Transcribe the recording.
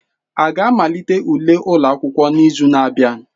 A ga-amalite ule ụlọ akwụkwọ n'izu na-abịa?